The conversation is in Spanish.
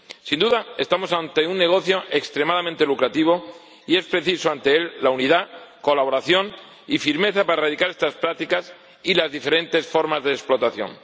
Sin duda, estamos ante un negocio extremadamente lucrativo y se precisa unidad, colaboración y firmeza para erradicar estas prácticas y las diferentes formas de explotación.